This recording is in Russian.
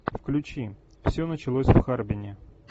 включи все началось в харбине